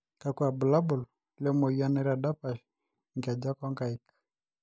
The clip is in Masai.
kakua irbulabol le moyian naitadapsh inkejek o nkaik